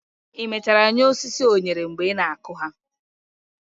i mechara nye osisi onyere mgbe ị na-akụ ha?